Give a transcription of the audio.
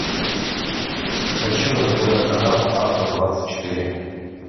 хочу на тв канал авто двадцать четыре